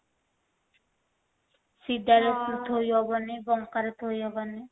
ସିଧା ରେ ଥୋଇହବନି ବଙ୍କା ରେ ଥୋଇହବନି